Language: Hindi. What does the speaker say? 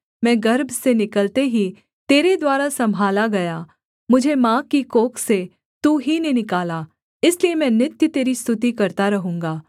मैं गर्भ से निकलते ही तेरे द्वारा सम्भाला गया मुझे माँ की कोख से तू ही ने निकाला इसलिए मैं नित्य तेरी स्तुति करता रहूँगा